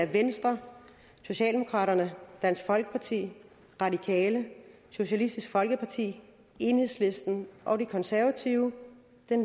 venstre socialdemokraterne dansk folkeparti radikale socialistisk folkeparti enhedslisten og de konservative